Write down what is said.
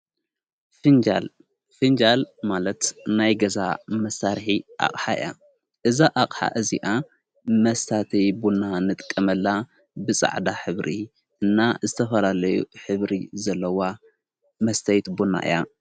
ፊንጃል ማለት ናይ ገዛ መሣርሒ ኣቕሓ እያ እዛ ኣቕሓ እዚኣ መስታተይ ቡና ንጥቀመላ ብፃዕዳ ሕብሪ እና ዝተፈላለዩ ሕብሪ ዘለዋ መስተይት ቡና እያ።